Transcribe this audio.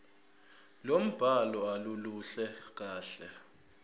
lombhalo aluluhle kahle